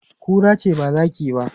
Kura ce ba zaki ba.